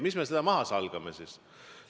Miks me seda maha peaksime salgama?